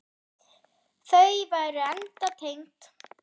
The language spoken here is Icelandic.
Þau væru enda tengd.